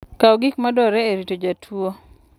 Kaw gik madwarore e rito jatuwo.